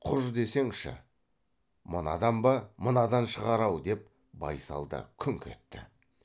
құж десеңші мынадан ба мынадан шығар ау деп байсал да күңк етті